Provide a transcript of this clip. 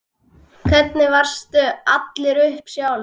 Hvernig varstu alin upp sjálf?